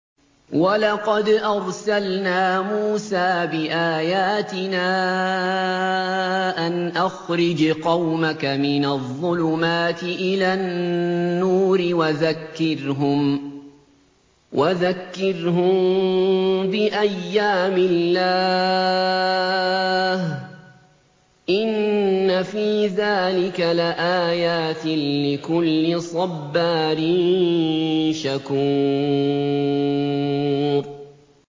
وَلَقَدْ أَرْسَلْنَا مُوسَىٰ بِآيَاتِنَا أَنْ أَخْرِجْ قَوْمَكَ مِنَ الظُّلُمَاتِ إِلَى النُّورِ وَذَكِّرْهُم بِأَيَّامِ اللَّهِ ۚ إِنَّ فِي ذَٰلِكَ لَآيَاتٍ لِّكُلِّ صَبَّارٍ شَكُورٍ